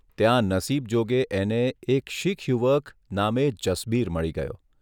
ત્યાં નસીબજોગે એને એક શીખ યુવક નામે જસબીર મળી ગયો.